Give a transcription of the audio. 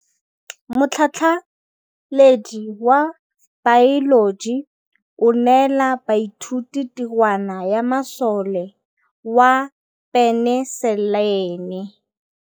Motlhatlhaledi wa baeloji o neela baithuti tirwana ya mosola wa peniselene.